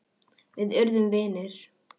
Við urðum vinir.